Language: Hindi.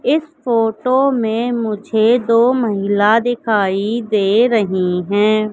इस फोटो में मुझे दो महिला दिखाई दे रही हैं।